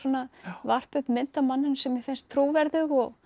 varpa upp mynd af manninum sem mér finnst trúverðug og